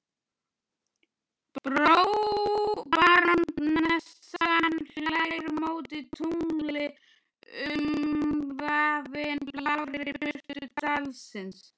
Barónessan hlær móti tungli umvafin blárri birtu dalsins.